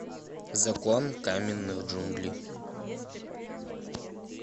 закон каменных джунглей